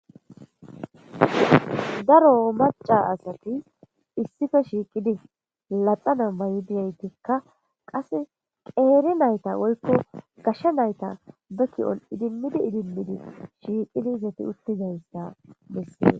Daro maca asati issife shiiqidi laxana bayi diyaytikka qas qeeri nayta woykko gashsha nayta beki'on idimmidi idimmidi shiiqidizati uttizayssa dessie